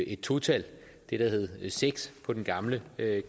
et to tal det der hed seks på den gamle